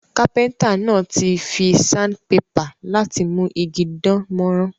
Carpenter náà ti fi sandpaper láti mú igi dánmórán